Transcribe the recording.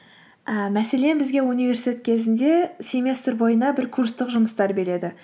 ііі мәселен бізге университет кезінде семестр бойына бір курстық жұмыстар береді